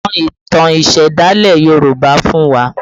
Sọ ìtàn ìsẹ̀dálẹ̀ Yoruba fún wa!